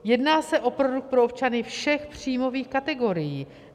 Jedná se o produkt pro občany všech příjmových kategorií.